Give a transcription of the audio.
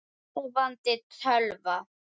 Sofandi tölva.